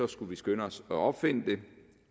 skulle vi skynde os at opfinde det